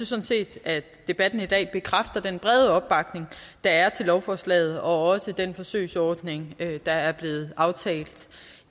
sådan set at debatten i dag bekræfter den brede opbakning der er til lovforslaget og også til den forsøgsordning der er blevet aftalt